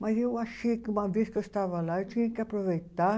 Mas eu achei que, uma vez que eu estava lá, eu tinha que aproveitar